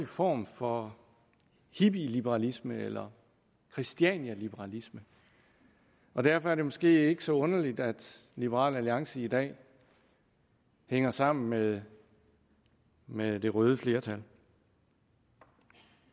form for hippieliberalisme eller christianialiberalisme derfor er det måske ikke så underligt at liberal alliance i dag hænger sammen med med det røde flertal